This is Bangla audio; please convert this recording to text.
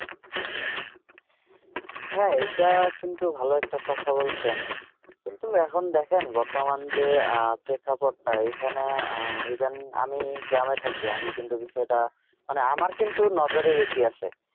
হ্যাঁ এটা কিন্তু ভালো একটা কথা বলছেন কিন্তু এখন দেখেন বর্তমান যে প্রেক্ষাপটটা এখানে even আমি গ্রামে থাকি আমি কিন্তু বিষয়টা মানে আমার কিন্তু নজরে বেশি আসে